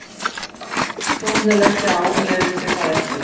Hann var að því kominn að leggja á en leyfði sér það ekki.